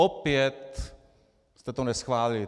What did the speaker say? Opět jste to neschválili.